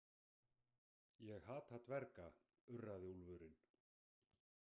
Ég hata dverga, urraði úlfurinn.